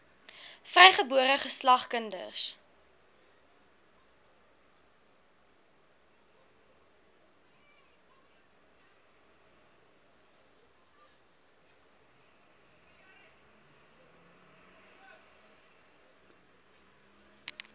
vrygebore geslag kinders